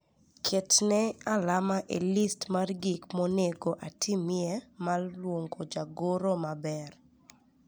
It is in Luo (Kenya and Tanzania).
Ketne alama e list mar gik monego atimie mar luongo jagoro maber